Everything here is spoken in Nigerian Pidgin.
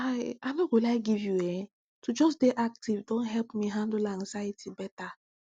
i i no go lie give youehn to just dey active don help me handle anxiety better